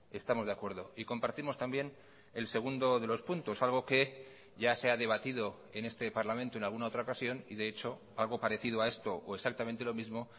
estamos de acuerdo y compartimos también el segundo de los puntos algo que ya se ha debatido en este parlamento en alguna otra ocasión y de hecho algo parecido a esto o exactamente lo mismo